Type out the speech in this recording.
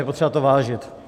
Je potřeba to vážit.